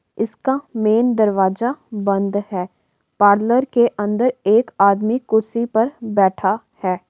इसका मेन दरवाजा बंद है। पार्लर के अंदर एक आदमी कुर्सी पर बैठा है।